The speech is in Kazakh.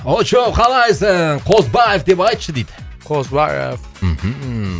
очоу қалайсың косылайық деп айтшы дейді косылайық мхм